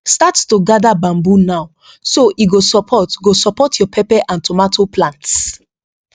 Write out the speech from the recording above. start to gather bamboo now so e go support go support your pepper and tomato plants